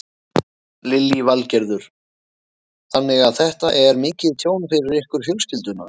Lillý Valgerður: Þannig að þetta er mikið tjón fyrir ykkur fjölskylduna?